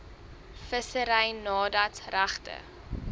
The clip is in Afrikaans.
vissery nadat regte